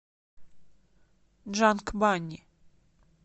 джанкбанни